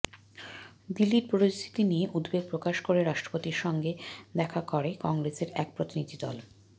দিল্লির পরিস্থিতি নিয়ে উদ্বেগ প্রকাশ করে রাষ্ট্রপতির সঙ্গে দেখা করে কংগ্রেসের এক প্রতিনিধি দল